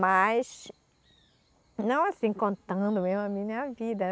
Mas, não assim, contando mesmo a minha vida.